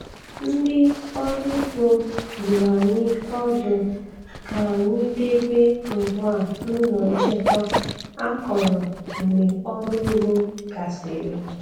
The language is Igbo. Ndị ọrụ ugbo dụrụ anyị ọdụ ka anyị debe ngwa n'ụlọ nchekwa akọrọ mgbe ọrụ ugbo gasịrị.